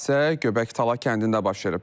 Hadisə Göbəktala kəndində baş verib.